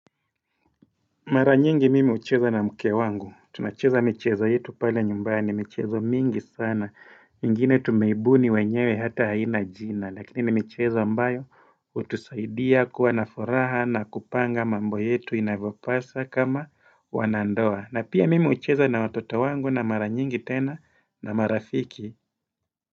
Mara nyingi mimi hucheza na mke wangu, tunacheza michezo yetu pale nyumbani, michezo mingi sana, ingine tumeibuni wenyewe hata haina jina, lakini ni michezo ambayo hutusaidia kuwa nafuraha na kupanga mambo yetu inavyopasa kama wanandoa, na pia mimi hucheza na watoto wangu na mara nyingi tena na marafiki.